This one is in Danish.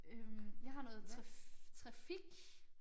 Øh jeg har noget trafik